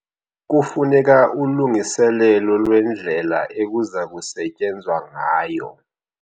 Kufuneka ulungiselelo lwendlela ekuza kusetyenzwa ngayo.